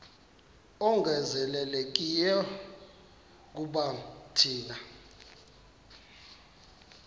ongezelelekileyo kuba thina